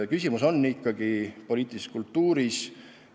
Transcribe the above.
Küsimus on ikka poliitilises kultuuris.